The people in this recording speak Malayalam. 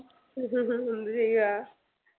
എന്ത് ചെയ്യാ